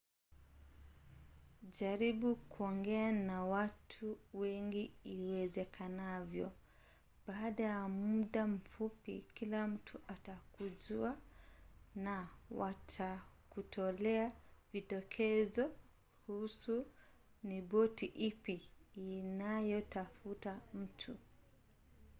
jaribu kuongea na watu wengi iwezekanavyo. baada ya muda mfupi kila mtu atakujua na watakutolea vidokezo kuhusu ni boti ipi inayotafuta mtu